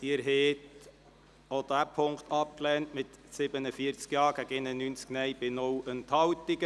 Sie haben auch diesen Punkt abgelehnt mit 47 Ja- gegen 91 Nein-Stimmen bei 0 Enthaltungen.